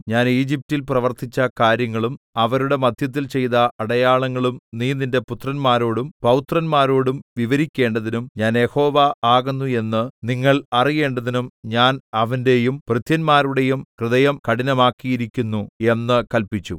ഞാൻ ഈജിപ്റ്റിൽ പ്രവർത്തിച്ച കാര്യങ്ങളും അവരുടെ മദ്ധ്യത്തിൽ ചെയ്ത അടയാളങ്ങളും നീ നിന്റെ പുത്രന്മാരോടും പൌത്രന്മാരോടും വിവരിക്കേണ്ടതിനും ഞാൻ യഹോവ ആകുന്നു എന്ന് നിങ്ങൾ അറിയേണ്ടതിനും ഞാൻ അവന്റെയും ഭൃത്യന്മാരുടെയും ഹൃദയം കഠിനമാക്കിയിരിക്കുന്നു എന്ന് കല്പിച്ചു